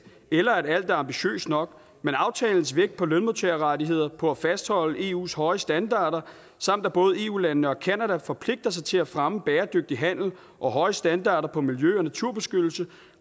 eller at alt er ambitiøst nok men aftalens vægt på lønmodtagerrettigheder på at fastholde eus høje standarder samt at både eu landene og canada forpligter sig til at fremme bæredygtig handel og høje standarder på miljø og naturbeskyttelse